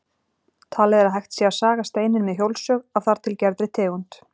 Talið er að hægt sé að saga steininn með hjólsög af þar til gerðri tegund.